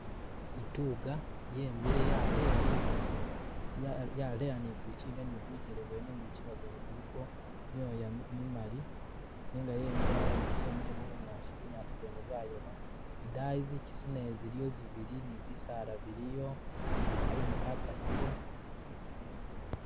Ituga yemile yaleya ligosi yaleya ni gumuchinga ni bugele bwene ni gumuchinga gwene guliko myoya mimali nenga yimile mubunyasi bunyasi bwene bwayoma idayi zichisi naye ziliyo zibili ni bisaala biliyo kakumu kakasile